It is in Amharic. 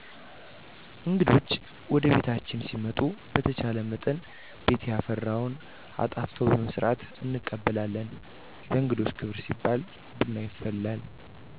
እንግዶች ወደቤታችን ሲመጡ በተቻለመጠን ቤት ያፈራውን አጣፍጦ በመስራት እንቀበላለን። ለእንግዶች ክብር ሲባል ቡና ይፈላል።